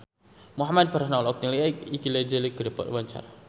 Muhamad Farhan olohok ningali Iggy Azalea keur diwawancara